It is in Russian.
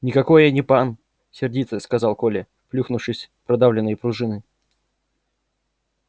никакой я не пан сердито сказал коля плюхнувшись в продавленные пружины